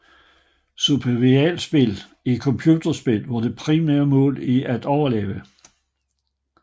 Survivalspil er computerspil hvor det primære mål er at overleve